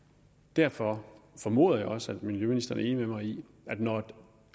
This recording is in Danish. derfor formoder jeg også at miljøministeren er enig med mig i at når